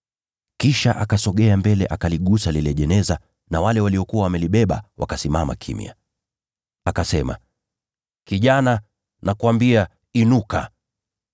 Kisha akasogea mbele akaligusa lile jeneza na wale waliokuwa wamelibeba wakasimama kimya. Akasema, “Kijana, nakuambia inuka.”